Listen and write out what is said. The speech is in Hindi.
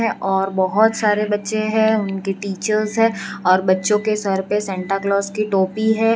और बहोत सारे बच्चे हैं उनकी टीचर्स हैं और बच्चों के सर पे सांता क्लास की टोपी है।